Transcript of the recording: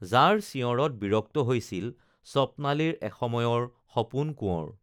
যাৰ চিঞঁৰত বিৰক্ত হৈছিল স্বপ্নালীৰ এসময়ৰ সপোন কোৱঁৰ